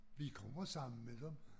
Vi kommer sammen med dem